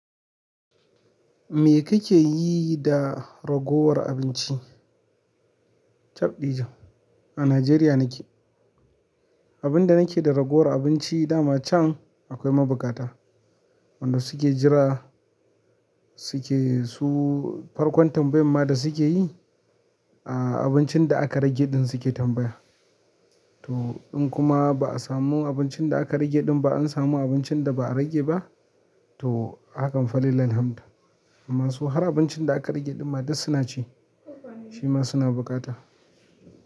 Me kake yi da ragowar abinci? Tabdi jan, a Najeriya nake. Abinda nake da ragowar abinci daman can akwai mabuƙata wanda suke jira suke su farkon tambayan ma da suke yi, a abincin da aka rage ɗin suke tambaya. To in kuma ba a samu abincin da aka rage ɗin ba, an samu abincin da ba a rage ba, to hakan falillahi hamdu amma su har abincin da aka rage ɗin ma dasu na ci, shi ma suna bukata.